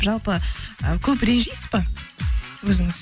жалпы ы көп ренжисіз ба өзіңіз